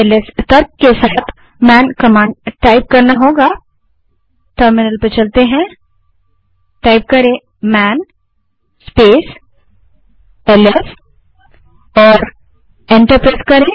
LS तर्क के साथ मैन कमांड टाइप करें जो है टाइप मन स्पेस एलएस और एंटर दबायें